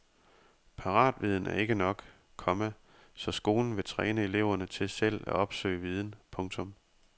Paratviden er ikke nok, komma så skolen vil træne eleverne til selv at opsøge viden. punktum